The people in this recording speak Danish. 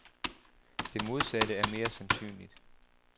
Det modsatte er mere sandsynligt.